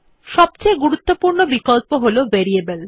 সবথেকে গুরুত্বপূর্ণ বিকল্প হল ভেরিয়েবল